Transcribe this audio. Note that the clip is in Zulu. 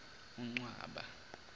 uncwaba